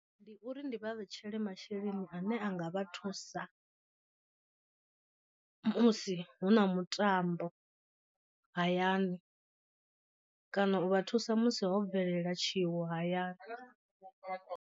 Ndi uri ndi vha vhetshela masheleni ane a nga vha thusa musi hu na mutambo hayani kana u vha thusa musi ho bvelela tshiwo hayani.